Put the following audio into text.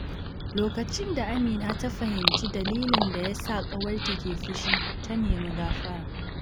Lokacin da Amina ta fahimci dalilin da ya sa ƙawarta ke fushi, ta nemi gafara.